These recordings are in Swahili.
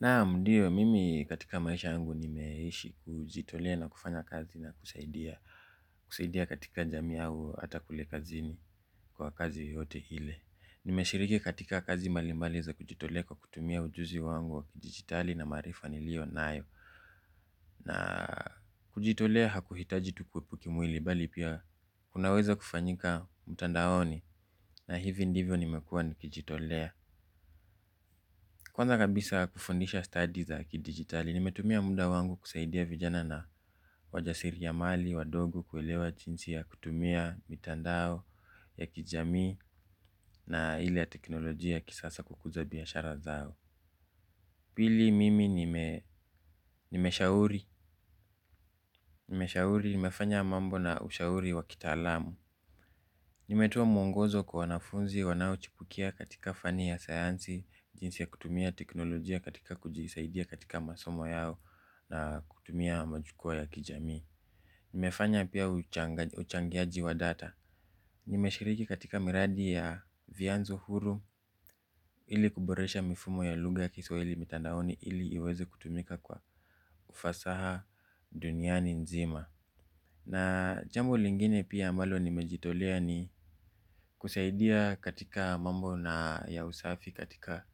Naam ndiyo, mimi katika maisha yangu nimeishi kujitolea na kufanya kazi na kusaidia kusaidia katika jamii au hata kule kazini kwa kazi yoyote ile. Nimeshiriki katika kazi mbalimbali za kujitolea kwa kutumia ujuzi wangu wa kidijitali na maarifa nilionayo. Na kujitolea hakuitaji tu kuwepo kimwili bali pia unaweza kufanyika mtandaoni na hivi ndivyo nimekuwa nikijitolea kwanza kabisa kufundisha stadi za kidijitali nimetumia muda wangu kusaidia vijana na wajasiriamali wadogo kuelewa jinsi ya kutumia mitandao ya kijamii na ile ya kiteknolojia ya kisasa kukuza biashara zao pili mimi nimeshauri, nimeshauri, nimefanya mambo na ushauri wakitaalamu. Nimetoa mwongozo kwa wanafunzi wanaochipukia katika fani ya sayansi, jinsi ya kutumia teknolojia katika kujisaidia katika masomo yao na kutumia majukwaa ya kijamii nimefanya pia uchangiaji wa data. Nimeshiriki katika miradi ya vyanzo huru ili kuboresha mifumo ya lugha Kiswahili mitandaoni ili iweze kutumika kwa ufasaha duniani nzima na jambo lingine pia mbalo nimejitolea ni kusaidia katika mambo na ya usafi katika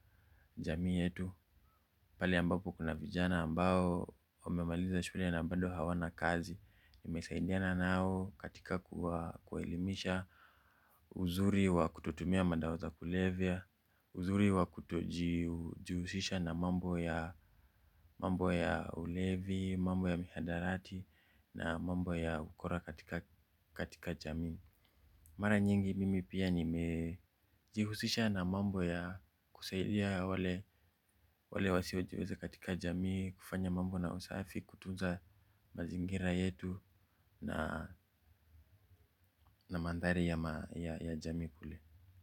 jamii yetu pale ambapo kuna vijana ambao wamemaliza shule na bado hawana kazi. Nimesaidiana nao katika kuwa elimisha uzuri wa kutotumia madawa za kulevya uzuri wa kutoji jihusisha na mambo ya ulevi, mambo ya mihadarati na mambo ya ukora katika jami mara nyingi mimi pia nimejihusisha na mambo ya kusaidia wale wasiojiweza katika jamii kufanya mambo na usafi kutunza mazingira yetu na na mandhari ya jamii kule.